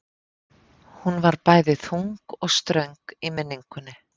Hún var bæði þung og ströng í minningunni.